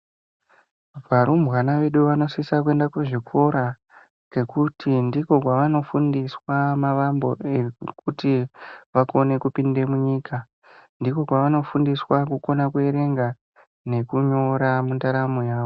Varumbwana vedu vanosisa kuenda zvikora ngekuti ndiko kwavano fundiswa mavambo ekuti vakone kupinde munyika ndiko kwavano fundiswa kukona ku erenga neku nyora mundaramo yavo.